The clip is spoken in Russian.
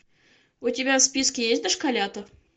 у тебя в списке есть дошколята